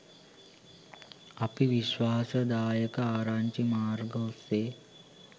අපි විශ්වාසදායක ආරංචි මාර්ග ඔස්සේ